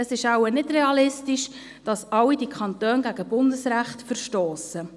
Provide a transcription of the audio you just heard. Es ist nicht realistisch, dass alle diese Kantone gegen Bundesrecht verstossen.